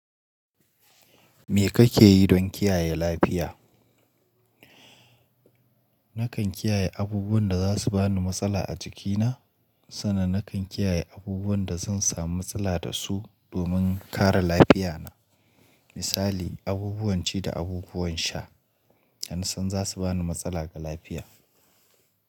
Me kake yi don kiyaye lafiya? Nakan kiyaye abubuwan da za su bani matsala a jikina, sannan nakan kiyaye abubuwan da zan samu matsala da su domin kara lafiya na. Misali, abubuwan ci da abubuwan sha da na san za su bani matsala ga lafiya.